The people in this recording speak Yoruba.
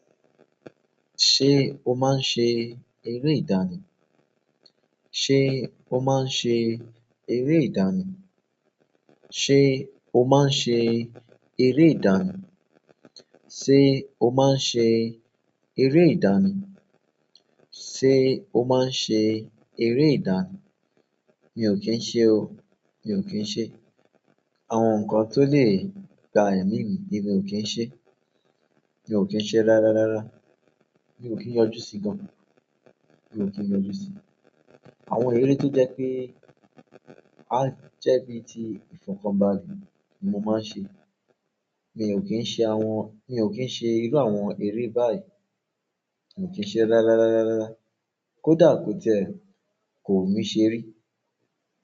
Ṣé o máa ń ṣe eré ìdánì? Ṣé o máa ń ṣe eré ìdánì? O máa ń ṣe eré ìdánì? Ṣé o máa ń ṣe eré ìdánì? Ṣé o máa ń ṣe eré ìdánì? Mi ò kí ń se o. Mi ò kí ń ṣe. Àwọn nǹkan tó lè gba ẹ̀mí mì, èmi ò kí ń ṣe. Mi o ki n se rararara. Mi ò kí ń yọjú sí gan. Mi ò kí ń yọjú sí i. Àwọn eré tó jẹ́ pé, a jẹ́ bí i ti ìfọ̀kànbalẹ̀ ni mo máa ń ṣe. Mi ò kí ń ṣe àwọn, mi ò kí ń ṣe irú àwọn eré baii. Mi ò kí ń ṣe rárárárárárára. Kódà ko ti e, ko wun mi se ri.